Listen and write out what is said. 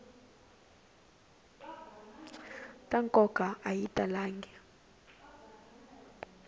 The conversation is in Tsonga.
ta nkoka a yi talangi